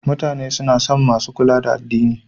Mutane suna son masu kula da addini.